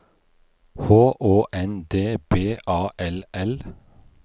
H Å N D B A L L